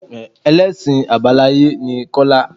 Ẹlẹ́sìn Àbáláyé ni Kọ́lá.